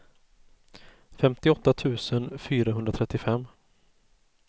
femtioåtta tusen fyrahundratrettiofem